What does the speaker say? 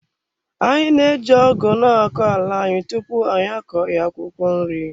Anyị na-eji ọgu na-akọ ala anyị tupu anyị akọ ya akwụkwọ nri.